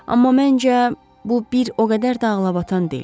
Amma məncə, bu bir o qədər də ağlabatan deyil.